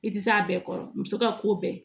I tɛ s'a bɛɛ kɔrɔ muso ka ko bɛɛ